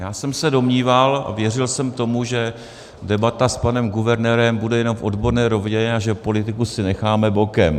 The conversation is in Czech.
Já jsem se domníval a věřil jsem tomu, že debata s panem guvernérem bude jenom v odborné rovině a že politiku si necháme bokem.